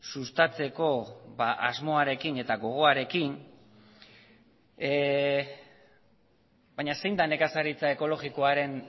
sustatzeko asmoarekin eta gogoarekin baina zein da nekazaritza ekologikoaren